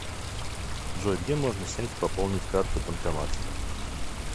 джой где можно снять и пополнить карту банкомат